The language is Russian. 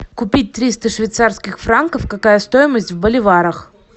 купить триста швейцарских франков какая стоимость в боливарах